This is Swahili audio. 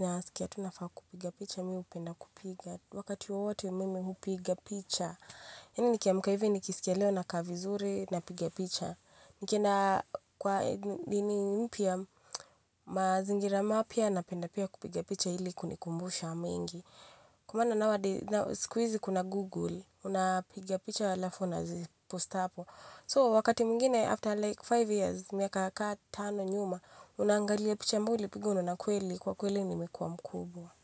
nasikia tu nafaa kupiga picha, mimi hupenda kupiga. Wakati wowote mimi hupiga picha. Yaani nikiamka hivi nikisikia leo nakaa vizuri napiga picha. Nikienda kwa nini mpya mazingira mapya napenda pia kupigia picha ili kunikumbusha mengi. Kwa maana siku hizi kuna google unapiia picha alafu unaziposti hapo So wakati mwingine after like tano years, miaka kaa tano nyuma unaangalia picha ambayo ulipiga unaona kweli kwa kweli nimekuwa mkubwa.